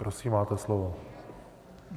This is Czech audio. Prosím máte slovo.